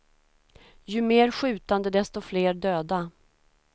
Ju mer skjutande, desto fler döda.